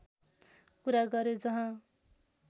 कुरा गर्‍यो जहाँ